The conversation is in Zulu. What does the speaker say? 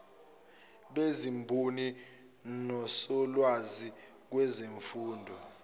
bezimboni nosolwazi kwezemfundo